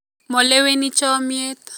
Moleweni chomiet